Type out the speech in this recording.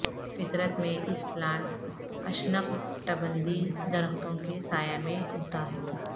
فطرت میں اس پلانٹ اشنکٹبندیی درختوں کے سایہ میں اگتا ہے